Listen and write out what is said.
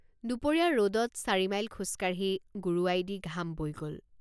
দুপৰীয়া ৰদত চাৰিমাইল খোজকাঢ়ি গোৰোৱাইদি ঘাম বৈ গল।